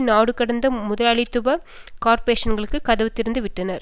நாடுகடந்த முதலாளித்துவ கார்ப்பொரேஷன்களுக்கு கதவு திறந்து விட்டனர்